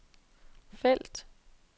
felt